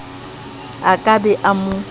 a ka be a mo